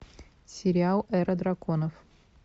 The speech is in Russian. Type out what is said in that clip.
сериал эра драконов